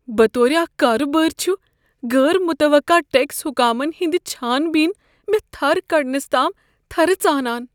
بطورِ اكھ كاربارۍ چھ غٲر متوقع ٹیكس حكامن ہنٛد چھان بین مےٚ تھر کڈس تام تھرٕ ژانان۔